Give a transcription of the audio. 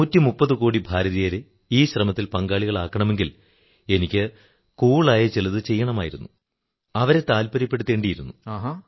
130 കോടി ഭാരതീയരെ ഈ ശ്രമത്തിൽ പങ്കാളികളാക്കണമെങ്കിൽ എനിക്ക് കൂൾ ആയ ചിലതു ചെയ്യണമായിരുന്നു അവരെ താത്പര്യപ്പെടുത്തേണ്ടിയിരുന്നു